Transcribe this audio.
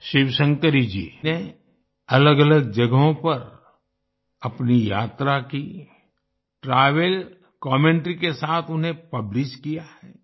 शिवशंकरी जी ने अलग अलग जगहों पर अपनी यात्रा की ट्रैवल कमेंटरी के साथ उन्हें पब्लिश किया है